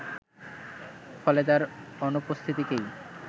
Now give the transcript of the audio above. ফলে তার অনুপস্থিতিতেই